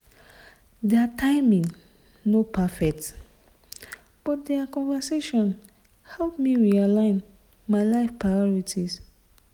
their timing no perfect but the conversation help me realign my life priorities.